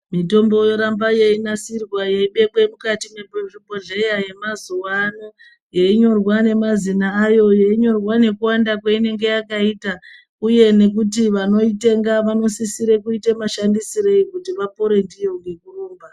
Mitombo yoramba yeyinadirwa yeyibekwe mukati mwezvibhohleye yemazuwano yeyinyorwa nemazina ayo yeyinyorwa nekuwanda kweinonga yakaita uye nekuti vanoitenga vanosire kuite mashandisirei kuti vapore ndiyo ngekurumba.